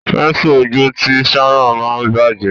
Pẹ́nsù ojú tí Sharon ma bajẹ.